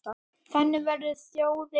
Þannig verður þjóðin rík.